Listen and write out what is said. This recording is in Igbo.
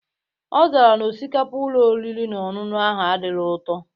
Ọzara na osikapa Ụlọ oriri na ọṅụṅụ ahụ adirọ ụtọ